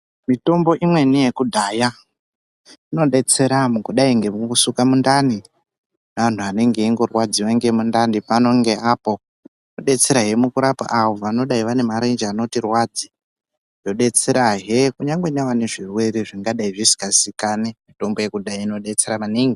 Mitombo imweni yekudhaya inobetsera mukudai nemukusuka mundani neantu anenge aingorwadziva ngemundani pano ngeapo. Inobetserahe vangadai vane marenje anorwadze. Yobetserahe kunyange nevane zvirwere zvinodai zvisikazikani mitombo yekudhaya inobetsera maningi.